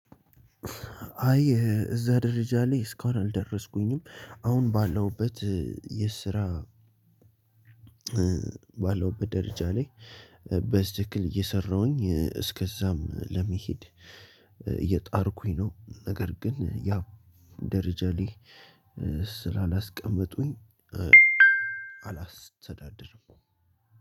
አይ እዛ ደረጃ ላይ እስካሁን አልደረስኩኝም አሁን ባለሁበት የስራ ባለውበት ደረጃ ላይ። በትክክል እየሰራሁኝ እስከዛም ለመሄድ እየጣርኩኝ ነው። ነገር ግን ያ ደረጃ ላይ ስላላስቀመጡኝ አላስተዳድርም።